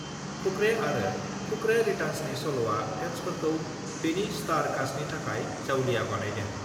फुकरे आरो पकरे रिटार्न्सनि सल'आ फेन्सफोरखौ बेनि स्टार कास्टनि थाखाय जावलिया बानायदों।